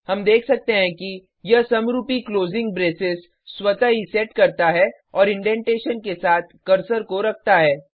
हम देख सकते हैं कि यह समरुपी क्लोजिंग ब्रेसेस स्वतः ही सेट करता है और इंडेंटेशन के साथ कर्सर को रखता है